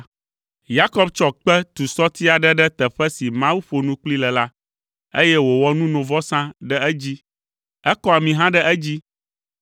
Yakob tsɔ kpe tu sɔti aɖe ɖe teƒe si Mawu ƒo nu kplii le la, eye wòwɔ nunovɔsa ɖe edzi; ekɔ ami hã ɖe edzi.